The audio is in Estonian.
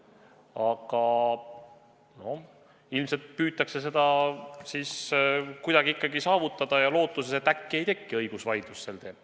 Aga ilmselt püütakse seda ikkagi kuidagi saavutada, lootuses, et äkki ei teki sel teemal õigusvaidlust.